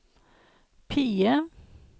PIE